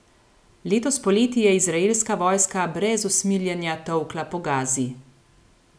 Letos poleti je izraelska vojska brez usmiljenja tolkla po Gazi.